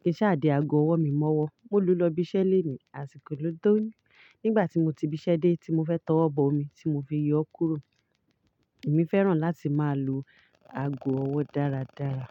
kí n ṣa de ago ọwọ́ mi mọ́wọ́. Mo lo lọ ibiṣẹ́ lenìí àsìkò ló tọ, nígbà tí mo ti bísẹ́ dé tí mo fẹ́ tọwọ bọmi tí mo fi yọ ọ́ kúrò. Èmi fẹ́ràn láti máa lo ago ọwọ́ dáradára.